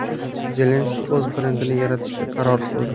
Zelenskiy o‘z brendini yaratishga qaror qildi.